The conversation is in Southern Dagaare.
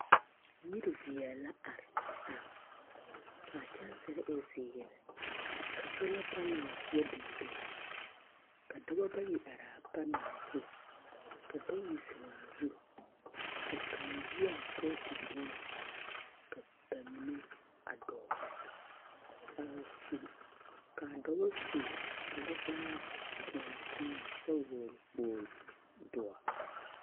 Yiri veɛl la are, are, ka a kyansere e zeere, ka sola panals yɛ biŋ biŋ, ka dɔbɔ bayi araa panals zu, ka bayi zeŋaa zu, ka kaŋ yi a poɔ te vuun, ka ba mine a dɔɔ, a su, kaa dɔbɔ su kparevaare toɔnɔ toɔnɔ kyɛ hɔgle kpogli, doɔ!